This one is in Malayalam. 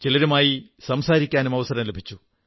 ചിലരുമായി സംസാരിക്കാനും അവസരം ലഭിച്ചു